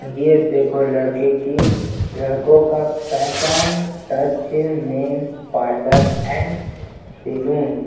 ये देखो लड़के की लड़को का fashion touch men's parlour and salon --